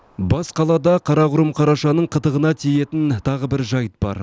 бас қалада қарақұрым қарашаның қытығына тиетін тағы бір жайт бар